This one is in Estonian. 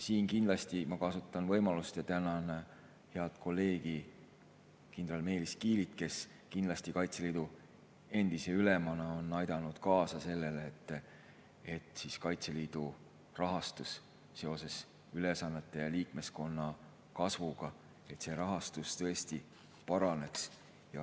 Ma kindlasti kasutan siin võimalust ja tänan head kolleegi kindral Meelis Kiilit, kes kindlasti Kaitseliidu endise ülemana on aidanud kaasa sellele, et Kaitseliidu rahastus seoses ülesannete ja liikmeskonna kasvuga paraneks.